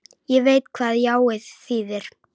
Ég veit hvað jáið þýðir.